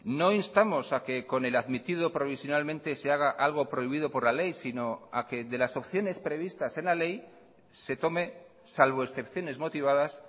no instamos a que con el admitido provisionalmente se haga algo prohibido por la ley sino a que de las opciones previstas en la ley se tome salvo excepciones motivadas